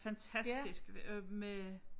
Fantastisk med øh